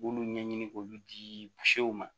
B'olu ɲɛɲini k'olu di ma